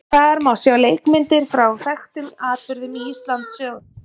Þar má sjá leikmyndir frá þekktum atburðum í Íslandssögunni.